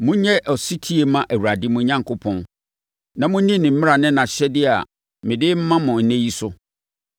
Monyɛ ɔsetie mma Awurade, mo Onyankopɔn, na monni ne mmara ne nʼahyɛdeɛ a mede rema mo ɛnnɛ yi so.”